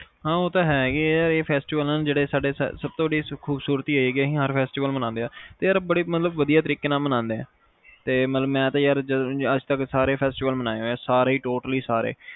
ਹਾਂ ਉਹ ਤਾ ਹੈਗੇ ਅਸੀਂ ਹਰ festival ਮੰਨਦੇ ਆ ਤੇ ਯਾਰ ਮਤਲਬ ਬੜੇ ਵਧੀਆ ਮੰਨਾਦੇ ਆ ਤੇ ਮਤਲਬ ਮੈਂ ਤਾ ਯਾਰ ਅੱਜ ਤਕ ਸਾਰੇ festival ਮਨਾਏ ਆ ਸਾਰੇ